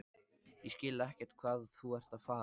Ég skil ekkert hvað þú ert að fara.